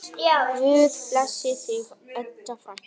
Guð blessi þig, Edda frænka.